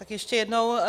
Tak ještě jednou.